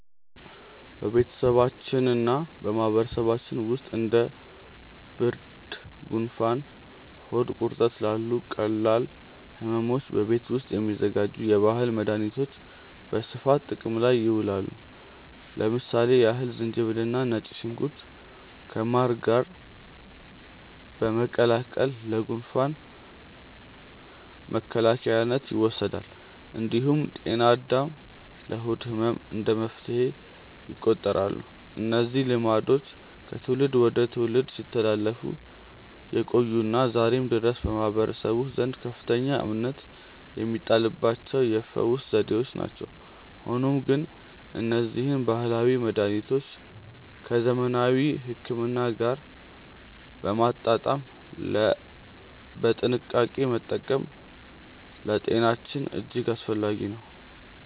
በቤተሰባችንና በማህበረሰባችን ውስጥ እንደ ብርድ፣ ጉንፋንና ሆድ ቁርጠት ላሉ ቀላል ሕመሞች በቤት ውስጥ የሚዘጋጁ የባህል መድኃኒቶች በስፋት ጥቅም ላይ ይውላሉ። ለምሳሌ ያህል ዝንጅብልና ነጭ ሽንኩርት ከማር ጋር በመቀላቀል ለጉንፋን መከላከያነት ይወሰዳል። እንዲሁም ጤና አዳም ለሆድ ህመም እንደ መፍትሄ ይቆጠራሉ። እነዚህ ልማዶች ከትውልድ ወደ ትውልድ ሲተላለፉ የቆዩና ዛሬም ድረስ በማህበረሰቡ ዘንድ ከፍተኛ እምነት የሚጣልባቸው የፈውስ ዘዴዎች ናቸው። ሆኖም ግን እነዚህን ባህላዊ መድኃኒቶች ከዘመናዊ ሕክምና ጋር በማጣጣም በጥንቃቄ መጠቀም ለጤናችን እጅግ አስፈላጊ ነው።